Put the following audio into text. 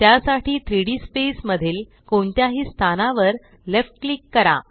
त्यासाठी 3डी स्पेस मधील कोणत्याही स्थानावर लेफ्ट क्लिक करा